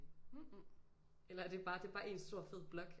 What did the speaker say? Eller er det bare det er bare en stor fed blok